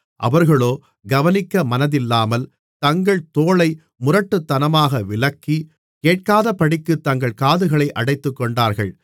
அவர்களோ கவனிக்க மனதில்லாமல் தங்கள் தோளை முரட்டுத்தனமாக விலக்கி கேட்காதபடிக்குத் தங்கள் காதுகளை அடைத்துக்கொண்டார்கள்